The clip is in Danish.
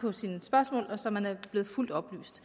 på sine spørgsmål så man er blevet fuldt oplyst